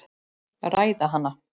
Ræða hana.